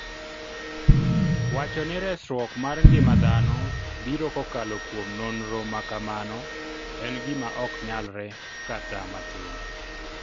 Wacho ni resruok mar ngima dhano biro kokalo kuom nonro ma kamano, en gima ok nyalre kata matin